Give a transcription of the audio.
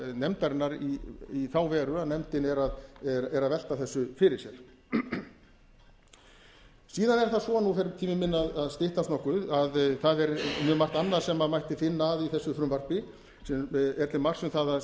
nefndarinnar í þá veru að nefndin er að velta þessu fyrir sér síðan er það svo nú fer tími minn að styttast nokkuð að það er mjög margt annað sem mætti finna að í þessum frumvarpi sem er til marks um að það